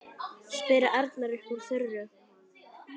spyr Arnar upp úr þurru.